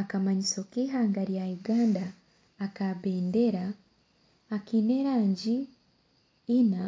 Akamangiso keihanga rya Uganda ak'ebendera akaine erangi ina